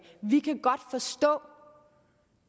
vi kan godt forstå